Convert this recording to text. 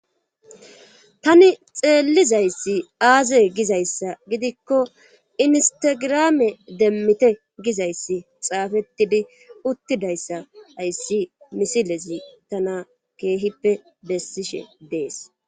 tani xeellizayssi aaze gizayssa gidikko instagirame demmite gizayssi xaafettidi uttidayssa ayssi misilezi tana keehippe bessishe dees